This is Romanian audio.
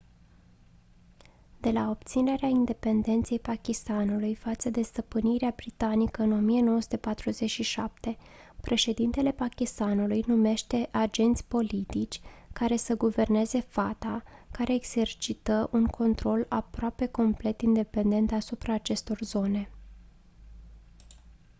de la obținerea independenței pakistanului față de stăpânirea britanică în 1947 președintele pakistanului numește agenți politici care să guverneze fata care exercită un control aproape complet independent asupra acestor zone